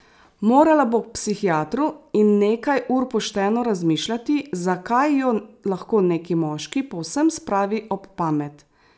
Morala bo k psihiatru in nekaj ur pošteno razmišljati, zakaj jo lahko neki moški povsem spravi ob pamet.